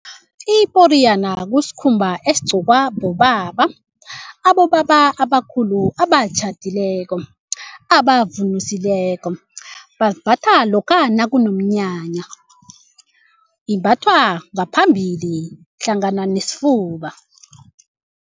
Iporiyana kusikhumba esigcokwa bobaba, abobaba abakhulu abatjhadileko abavunusileko. Basimbatha lokha nakunomnyanya imbathwa ngaphambili hlangana nesifuba.